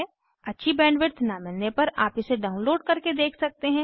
अच्छी बैंडविड्थ न मिलने पर आप इसे डाउनलोड करके देख सकते हैं